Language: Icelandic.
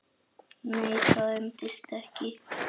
Nei, það endist ekki.